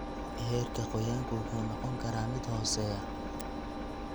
Heerka qoyaanku wuxuu noqon karaa mid hooseeya.